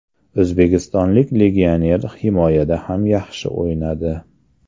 O‘zbekistonlik legioner himoyada ham yaxshi o‘ynadi.